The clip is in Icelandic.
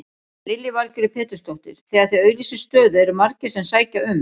Lillý Valgerður Pétursdóttir: Þegar þið auglýsið stöðu eru margir sem sækja um?